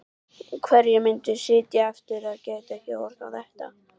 Hverjir myndu sitja eftir og gætu ekki horft á þetta?